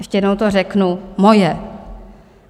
Ještě jednou to řeknu - moje.